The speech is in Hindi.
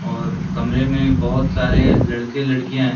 और कमरे में बहोत सारे लड़के-लड़कियाँ हैं।